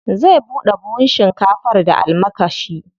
Zai buɗe buhun shinkafar da almakashi.